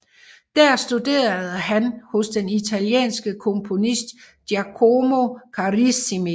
Der studerede han hos den italienske komponist Giacomo Carissimi